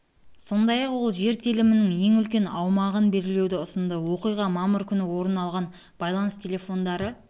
сондай-ақ ол жер телімінің ең үлкен аумағын белгілеуді ұсынды оқиға мамыр күні орын алған байланыс телефондары